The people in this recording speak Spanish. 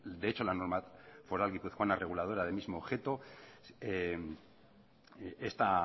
de hecho la norma foral guipuzcoana reguladora del mismo objeto está